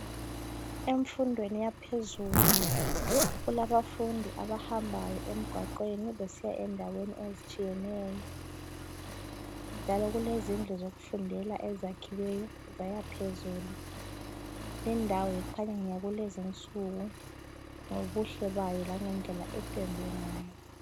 Emfundweni yaphezulu kulabafundi abahambayo emgwaqweni besiya endaweni ezitshiyeneyo njalo kulezindlu zokufundela ezakhiweyo zaya phezulu lindawo kukhanya ngeyakukezi nsuku ngobuhle bayo lange ndlela ependwe ngayo.